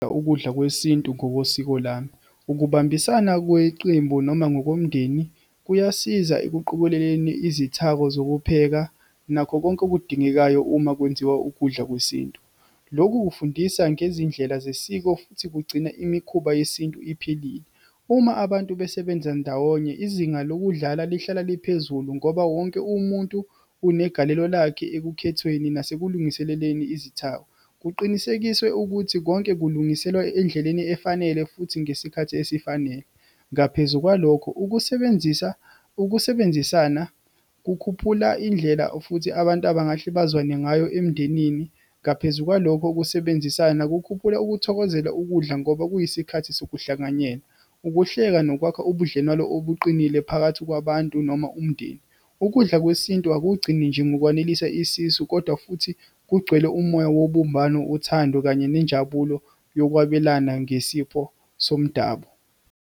Ukudla kwesintu ngokosiko lami. Ukubambisana kweqembu, noma ngokomndeni kuyasiza ekuqokeleleni izithako zokupheka, nakho konke okudingekayo uma kwenziwa ukudla kwesintu, lokhu kufundisa ngezindlela zesiko, futhi kugcina imikhuba yesintu iphelile. Uma abantu besebenza ndawonye, izinga lokudlala lihlala liphezulu ngoba wonke umuntu unegalelo lakhe ekukhethweni nasekulungiseleleni izithako. Kuqinisekiswe ukuthi konke kulungiselwa endleleni efanele, futhi ngesikhathi esifanele. Ngaphezu kwalokho, ukusebenzisa, ukusebenzisana kukhuphula indlela, futhi abantu abangahle bazwane ngayo emndenini. Ngaphezu kwalokho kusebenzisana, kukhuphula ukuthokozela ukudla ngoba kuyisikhathi sokuhlanganyela, ukuhleka, nokwakha ubudlelwano obuqinile phakathi kwabantu, noma umndeni. Ukudla kwesintu akugcini nje ngokwanelisa isisu, kodwa futhi kugcwele umoya wobumbano, uthando, kanye nenjabulo yokwabelana ngesifo somdabu.